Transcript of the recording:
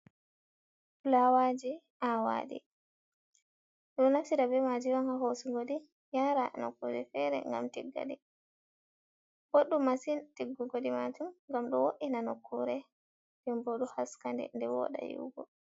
Fulawaji ,awadi du nafcida bemaji yonha hosugodi yara no kure fere gam tiggali boddu masin tiggugodi matum gam do wo’ina no kure ,dembodu haskande de woda yihugo.